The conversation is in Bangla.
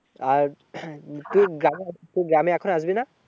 এই তুই গ্রামে, তুই গ্রামে এখন আসবি না?